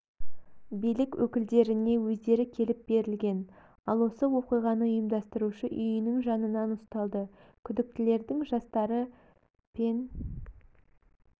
билік өкілдеріне өздері келіп берілген ал осы оқиғаны ұйымдастырушы үйінің жанынан ұсталды күдіктілердің жастары пен